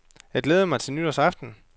Jeg glædede mig til nytårsaften.